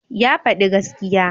Ya faɗi gaskiya